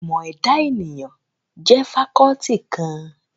Ìmọ̀ ẹ̀dà ènìyàn jẹ́ fakọ́ọ́tì kan.